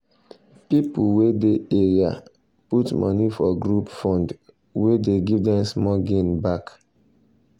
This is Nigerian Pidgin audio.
people wey dey area put money for group fund wey dey give them small gain back.